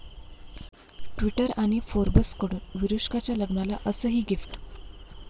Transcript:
Twitter आणि फोर्ब्सकडून विरुष्काच्या लग्नाला 'असं'ही गिफ्ट!